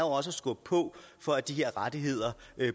også skubbe på for at de her rettigheder